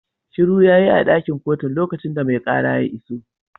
Shiru yayi a dakin kotun lokacin da mai kara ya iso